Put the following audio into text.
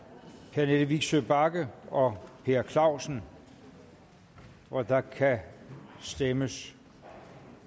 pernille vigsø bagge og per clausen og der kan stemmes